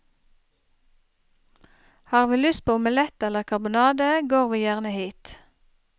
Har vi lyst på omelett eller karbonade, går vi gjerne hit.